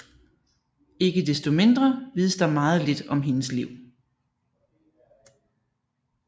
Ikke desto mindre vides der meget lidt om hendes liv